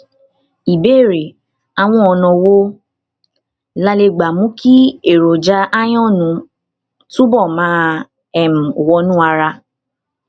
ìbéèrè àwọn ọnà wo la lè lè gbà mú kí èròjà iron túbọ máa um wọnú ara um